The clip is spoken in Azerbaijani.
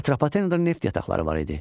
Atropatenada neft yataqları var idi.